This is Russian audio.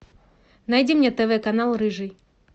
найди мне тв канал рыжий